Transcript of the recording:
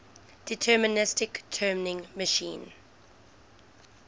deterministic turing machine